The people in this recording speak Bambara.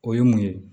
O ye mun ye